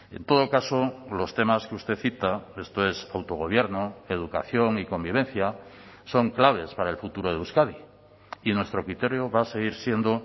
en todo caso los temas que usted cita esto es autogobierno educación y convivencia son claves para el futuro de euskadi y nuestro criterio va a seguir siendo